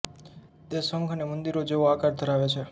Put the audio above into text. તે શંખ અને મંદિરો જેવો આકાર ધરાવે છે